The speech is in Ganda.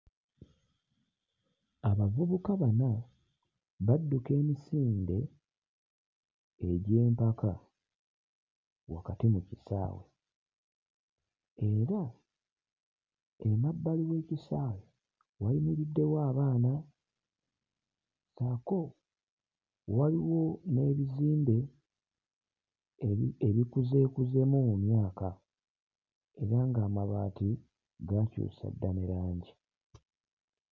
Abavubuka bana badduka emisinde egy'empaka wakati mu kisaawe era emabbali w'ekisaawe wayimiriddewo abaana ssaako waliwo n'ebizimbe ebi ebikuzeekuzeemu mu myaka era ng'amabaati gaakyusa dda ne langi.